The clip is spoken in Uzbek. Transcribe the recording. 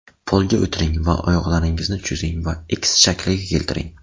Polga o‘tiring va oyoqlaringizni cho‘zing va X shakliga keltiring.